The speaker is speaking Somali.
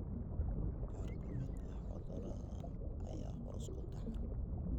Qaar ka mid ah cudurradan ayaa hoos ku taxan.